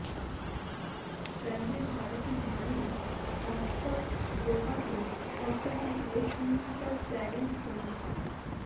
স্ট্র্যান্ডের বাড়িটির মালিক Marston properties সম্প্রতি ওয়েস্টমিনস্টার প্ল্যানিং কমিটির